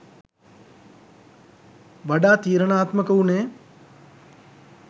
වඩා තීරණාත්මක වුණේ